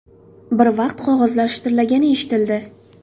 Bir vaqt qog‘ozlar shitirlagani eshitildi.